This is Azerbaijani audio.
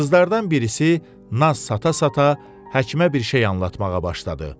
Qızlardan birisi naz sata-sata həkimə bir şey anlatmağa başladı.